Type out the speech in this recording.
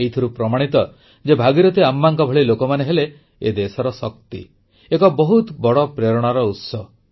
ଏଥିରୁ ପ୍ରମାଣିତ ଯେ ଭାଗିରଥି ଆମ୍ମାଙ୍କ ଭଳି ଲୋକମାନେ ହେଲେ ଏ ଦେଶର ଶକ୍ତି ଏକ ବହୁତ ବଡ଼ ପ୍ରେରଣାର ଉତ୍ସ